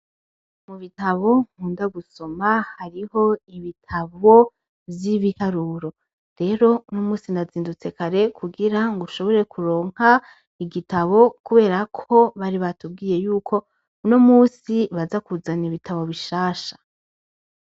Mu bitabo nkundo gusoma hariho ibitabo vy' ibiharuro rero unomunsi nazindutse kare ngo nshobore kuronka igitabo kubera ko bari batubwiye yuko unomunsi baza kuzana ibitabo bishasha.